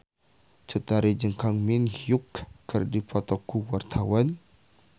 Cut Tari jeung Kang Min Hyuk keur dipoto ku wartawan